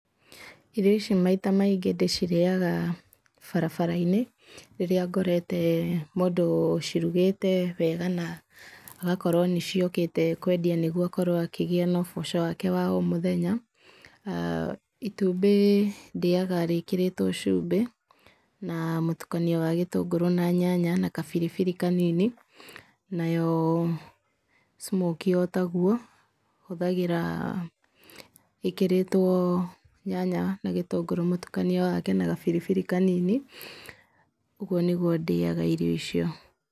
Irio ici maita maingĩ ndĩcirĩaga barabara-inĩ rĩrĩa ngorete mũndũ ũcirugĩte wega na agakorwo nĩcio ũkĩte kwendia nĩguo akorwo akĩgĩa na ũboco wake wa o mũthenya. Itumbĩ ndĩaga rĩkĩrĩtwo cumbĩ na mũtukanio wa gĩtũngũrũ na nyanya na kabiribiri kanini nayo smokie o tagũo hũthagĩra ĩkĩrĩtwo nyanya na gĩtũngũrũ mũtukanio wake na gabiribiri kanini ũguo nĩgũo ndĩaga irio icio.